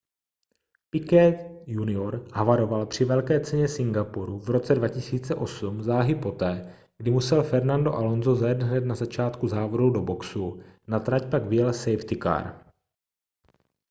piquet jr havaroval při velké ceně singapuru v roce 2008 záhy poté kdy musel fernando alonso zajet hned na začátku závodů do boxů na trať pak vyjel safety car